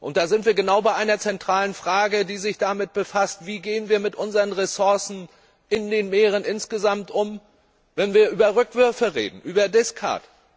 Da sind wir genau bei einer zentralen Frage, die sich damit befasst, wie wir mit unseren Ressourcen in den Meeren insgesamt umgehen, wenn wir über Rückwürfe reden, über discards